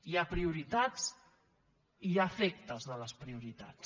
hi ha prioritats i hi ha efectes de les prioritats